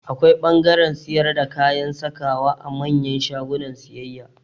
Akwai ɓangaren siyar da kayan sakawa a manyan shagunan siyayya